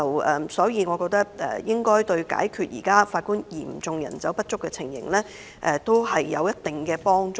我認為這對解決現時法官人手嚴重不足應有一定幫助。